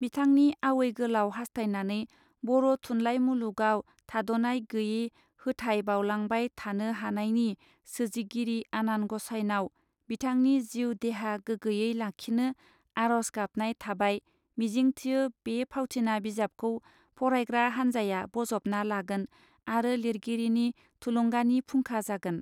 बिथांनि आवै गोलाव हास्थायनानै बर थुनलाइ मुलुगाव थादनाय गैये होथाय बाउलांबाय थानो हानायनि सोजिगिरि आनान गसाइनाव बिथांनि जिउ देहा गोगोयै लाखिनो आरज गाबनाय थाबाय मिजिंथियो बे फावथिना बिजाबखौ फरायग्रा हान्जाया बजबना लागोन आरो लिरगिरिनि थुलुंगानि फुंखा जागोन.